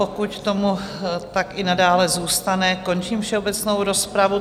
Pokud tomu tak i nadále zůstane, končím všeobecnou rozpravu.